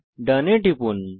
ডোন এ টিপুন